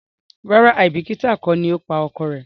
ràrá aibikita kò lọ pa ọkọ rẹ